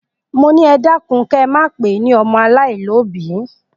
Mo ni, e dakun ke máa pe ni ọmọ alaialobi!